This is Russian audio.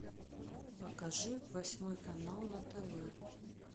покажи восьмой канал на тв